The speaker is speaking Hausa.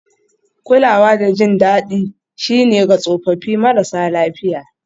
Kulawa da jin daɗi shine ga tsofaffi marasa lafiya